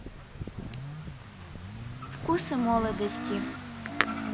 вкусы молодости